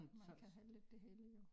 Man kan heller ikke det hele jo